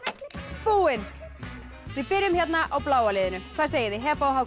búinn við byrjum á bláa liðinu hvað segið þið Heba og Hákon